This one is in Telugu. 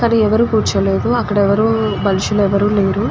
అక్కడ ఎవరు కూర్చోలేదు. అక్కడ ఎవరూ మనుషులు ఎవరూ లేరు.